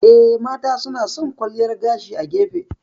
Eh, mata suna san kwalliyar gashi a gefe.